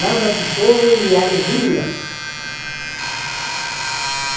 Nada de choro e alegria.